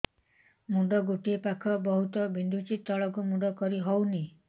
ମୁଣ୍ଡ ଗୋଟିଏ ପାଖ ବହୁତୁ ବିନ୍ଧୁଛି ତଳକୁ ମୁଣ୍ଡ କରି ହଉନି